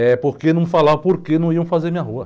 É porque não falavam por que não iam fazer minha rua.